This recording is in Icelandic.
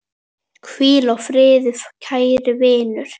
Hvíl í friði kæri vinur.